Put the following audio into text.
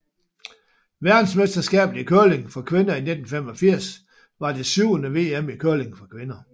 Verdensmesterskabet i curling for kvinder 1985 var det syvende VM i curling for kvinder